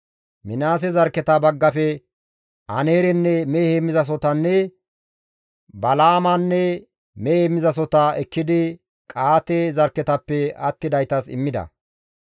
Minaase zarkketa baggafe Aneerenne mehe heemmizasohotanne Balaamanne mehe heemmizasohota ekkidi Qa7aate zarkketappe attidaytas immida.